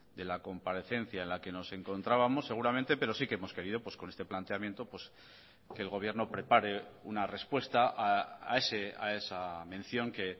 de la comparecencia en la que nos encontrábamos seguramente pero sí que hemos querido con este planteamiento que el gobierno prepare una respuesta a esa mención que